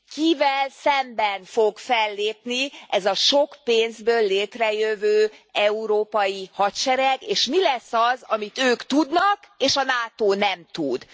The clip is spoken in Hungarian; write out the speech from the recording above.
Kivel szemben fog fellépni ez a sok pénzből létrejövő európai hadsereg, és mi lesz az, amit ők tudnak, és a NATO nem tud?